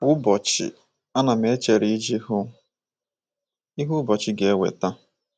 Kwa ụbọchị, ana m echere iji hụ ihe ụbọchị ga - eweta.